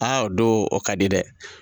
Aa o don o ka di dɛ.